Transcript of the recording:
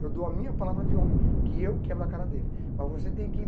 Eu dou a minha palavra de homem, que eu quebro a cara dele, mas você tem que